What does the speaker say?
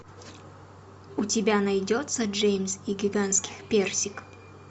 у тебя найдется джеймс и гигантский персик